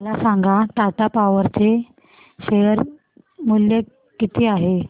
मला सांगा टाटा पॉवर चे शेअर मूल्य किती आहे